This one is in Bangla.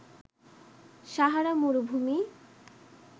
সাহারা মরুভূমি